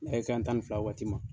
A ye tan ni fila waati ma.